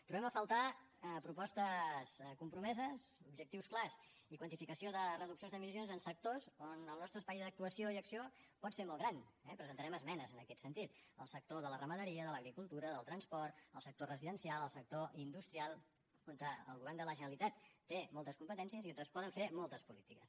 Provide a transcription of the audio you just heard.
trobem a faltar propostes compromeses objectius clars i quantificació de reduccions d’emissions en sectors on el nostre espai d’actuació i acció pot ser molt gran eh presentarem esmenes en aquest sentit el sector de la ramaderia de l’agricultura del transport el sector residencial el sector industrial on el govern de la generalitat té moltes competències i on es poden fer moltes polítiques